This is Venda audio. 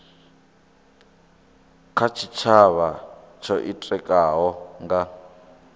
kha tshitshavha tsho itikaho nga